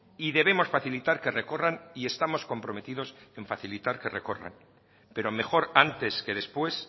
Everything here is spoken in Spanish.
y debemos facilitar que recorran y estamos comprometidos en facilitar que recorran pero mejor antes que después